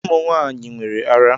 Ụmụ nwaanyị nwere árá.